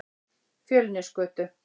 Fjölnisgötu